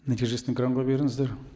нәтижесін экранға беріңіздер